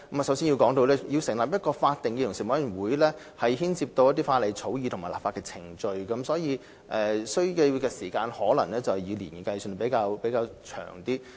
首先，成立一個法定的委員會將牽涉法例草擬和立法程序，所需時間可能以年計，時間較長。